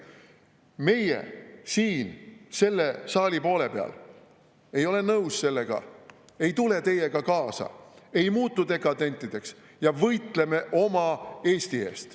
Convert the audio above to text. Meie siin saali selle poole peal ei ole nõus sellega, ei tule teiega kaasa, ei muutu dekadentideks ja võitleme oma Eesti eest.